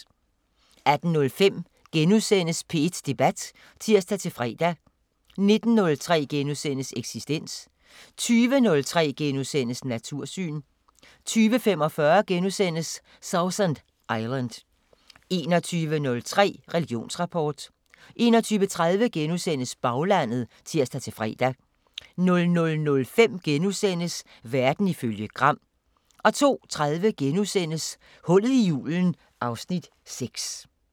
18:05: P1 Debat *(tir-fre) 19:03: Eksistens * 20:03: Natursyn * 20:45: Sausan Island * 21:03: Religionsrapport 21:30: Baglandet *(tir-fre) 00:05: Verden ifølge Gram * 02:30: Hullet i julen (Afs. 6)*